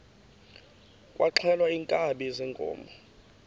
kwaxhelwa iinkabi zeenkomo